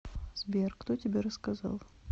сбер кто тебе рассказал